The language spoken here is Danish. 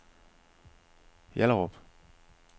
Hjallerup